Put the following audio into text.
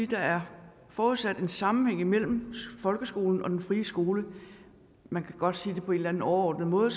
der er forudsat en sammenhæng mellem folkeskolen og den frie skole man kan godt på en eller anden overordnet måde